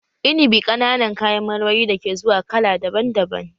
Inibi ƙananan kayan marmari da ke zuwa kala daban daban